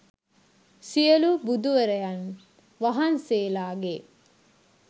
සියලු බුදුවරයන් වහන්සේලාගේ